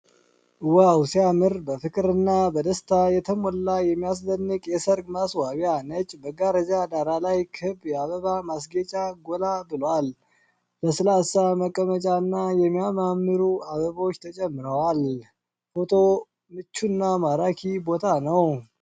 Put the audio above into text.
ዋው ሲያምር! በፍቅርና በደስታ የተሞላ የሚያስደንቅ የሠርግ ማስዋቢያ። ነጭ መጋረጃ ዳራ ላይ ክብ የአበባ ማስጌጫ ጎላ ብሏል!!። ለስላሳ መቀመጫና የሚያማምሩ አበቦች ተጨምረዋል። ፎቶ ምቹና ማራኪ ቦታ ነው።